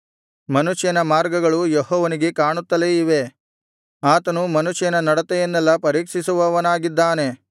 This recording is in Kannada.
ಮನುಷ್ಯನ ಮಾರ್ಗಗಳು ಯೆಹೋವನಿಗೆ ಕಾಣುತ್ತಲೇ ಇವೆ ಆತನು ಮನುಷ್ಯನ ನಡತೆಯನ್ನೆಲ್ಲಾ ಪರೀಕ್ಷಿಸುವವನಾಗಿದ್ದಾನೆ